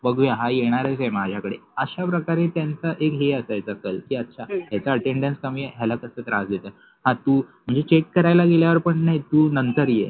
बघुया हा येनारच आहे माज़्याकडे अश्याप्रकारे त्यांच एक हे असायच कि अच्छा याच अटेंड्न्स कमि आहे याला कस त्रास द्यायच ह तु चेक करायल्या गेल्यानंतर पन काय तु नंतर ये